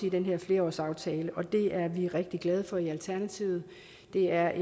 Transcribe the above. i den her flerårsaftale og det er vi rigtig glade for i alternativet det er